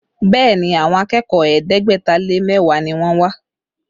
Bẹẹ ni, àwọn akẹ́kọ̀ọ́ ẹ̀ẹ́dẹ́gbẹ̀ta lé mẹ́wàá ni wọ́n wá